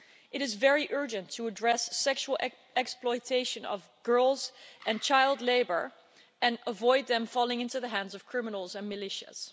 It is very urgent to address sexual exploitation of girls and child labour, and avoid them falling into the hands of criminals and militias.